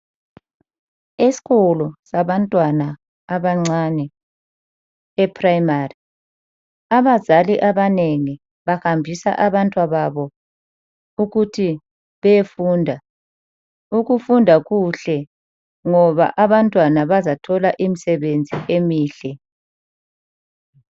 Esikolo sabantwana abancane e-Primary, abazali abanengi bahambisa abantwababo ukuthi beyefunda. Ukufunda kuhle ngoba abantwana bazathola imisebenzi emihle.